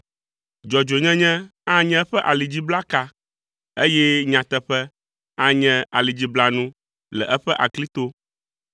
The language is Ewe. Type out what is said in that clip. Dzɔdzɔenyenye anye eƒe alidziblaka, eye nyateƒe anye alidziblanu le eƒe aklito.